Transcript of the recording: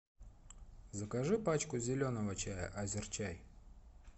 закажи пачку зеленого чая азерчай